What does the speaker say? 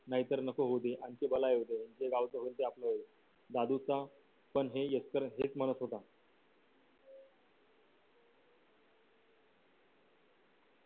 नाहीतर नको होऊ दे आमची बला येऊ दे जे गावच होईल ते आपलं होईल दादूचा पण हे एकतर हेच म्हणत होता